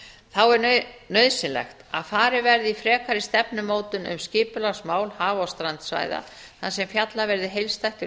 þá er nauðsynlegt að farið verði í frekari stefnumótun um skipulagsmál haf og strandsvæða þar sem fjallað verði heildstætt um